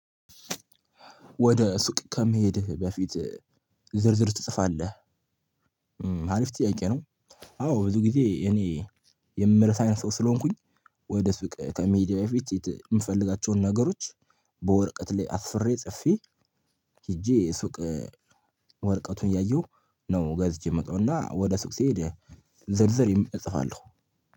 ወደ ሱቅ ከመሄድህ በፊት ዝርዝር ትጽፋለህ አሪፍ ጥያቄ ነው? አዎ ብዙ ጊዜ እኔ የምረሳ አይነት ሰው ስለሆንኩኝ። ወደ ሱቅ ከመሄዴ በፊት የምፈልጋቸውን ነገሮች በወርቀት ላይ አስፍሬ ጽፌ ሄጄ ሱቅ ወረቀቱን እያየሁ ነው ገዝቸ ነው የምመጣው። እና ወደ ሱቅ ስሄድ ዝርዝር እጽፋለሁ።